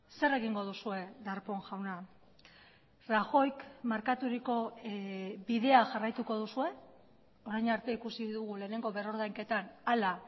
zer egingo duzue darpón jauna rajoyk markaturiko bidea jarraituko duzue orain arte ikusi dugu lehenengo berrordainketan hala